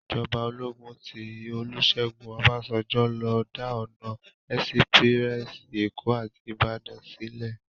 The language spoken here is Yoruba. Ijòbá ólógún ti Olusegun Obasanjo ló dá òná èsipirèsi Ékó áti Ibadan silè